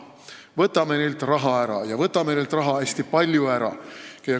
Võtame neilt raha ära ja võtame neilt raha hästi palju ära.